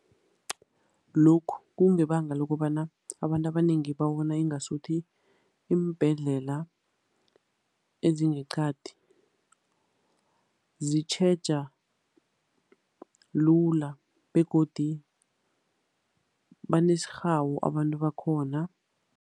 Lokhu kungebanga lokobana abantu abanengi babona ingasuthi iimbhedlela ezingeqadi zitjheja lula, begodu banesirhawu abantu bakhona.